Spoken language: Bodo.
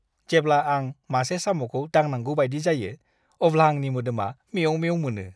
जेब्ला आं मासे साम'खौ दांनांगौ बायदि जायो, अब्ला आंनि मोदोमा मेव-मेव मोनो!